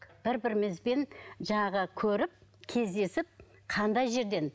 бір бірімізбен жаңағы көріп кездесіп қандай жерден